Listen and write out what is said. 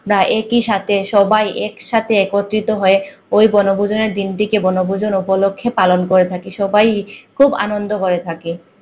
একই সাথে সবাই একসাথে একত্রিত হয়ে ওই বনভোজনের দিনটাকে বনভোজন উপলক্ষে পালন করে থাকি সবাই খুব আনন্দ করে থাকে